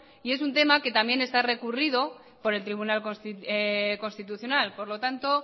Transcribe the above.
y es un tema que también está recurrido por el tribunal constitucional por lo tanto